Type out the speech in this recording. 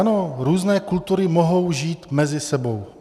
Ano, různé kultury mohou žít mezi sebou.